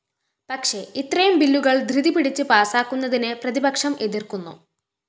പക്ഷേ ഇത്രയും ബില്ലുകള്‍ ധൃതി പിടിച്ച് പാസാക്കുന്നതിനെ പ്രതിപക്ഷം എതിര്‍ക്കുന്നു